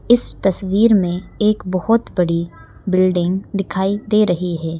इस तस्वीर में एक बहोत बड़ी बिल्डिंग दिखाई दे रही है।